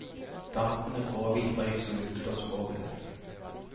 Dampende, gråhvit røyk som lukter svovel.